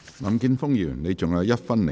林健鋒議員，你還有1分1秒答辯。